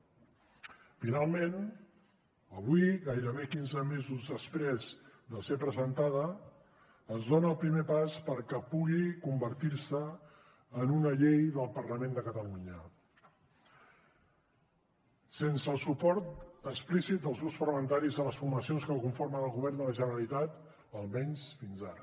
finalment avui gairebé quinze mesos després de ser presentada es dona el primer pas perquè pugui convertir se en una llei del parlament de catalunya sense el suport explícit dels grups parlamentaris de les formacions que conformen el govern de la generalitat almenys fins ara